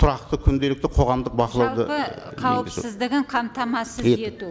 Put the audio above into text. тұрақты күнделікті қоғамдық бақылауды жалпы қауіпсіздігін қамтамасыз ету